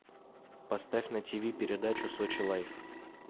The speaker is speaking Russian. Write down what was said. поставь на ти ви передачу сочи лайф